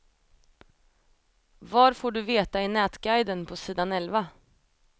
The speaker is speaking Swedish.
Var får du veta i nätguiden på sidan elva.